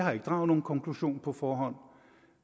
har ikke draget nogen konklusion på forhånd